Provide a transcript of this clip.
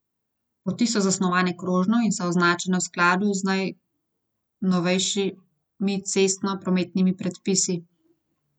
Poti so zasnovane krožno in so označene v skladu z najnovejšimi cestno prometnimi predpisi.